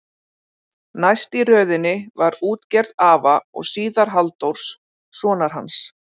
Næst í röðinni var útgerð afa og síðar Halldórs, sonar hans.